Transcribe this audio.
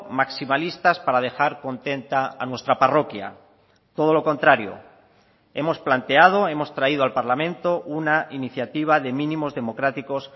maximalistas para dejar contenta a nuestra parroquia todo lo contrario hemos planteado hemos traído al parlamento una iniciativa de mínimos democráticos